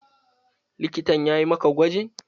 Likitan yayi maka gwajin?